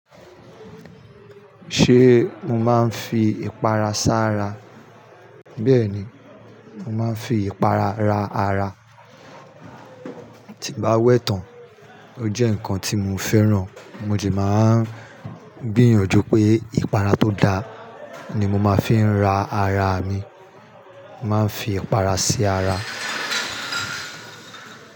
Ṣé mo máa ń fi ìpara sá ra? Bẹ́ẹ̀ni, mo máa ń fi ìpara ra ara. Tí n bá wẹ̀ tán, ó jẹ́ nǹkan tí mo fẹ́ràn. Mo sì máa ń gbìyànjú pé ìpara tó da ni mo máa fi ra ara mi. Máa ń fi ìpara sí ara.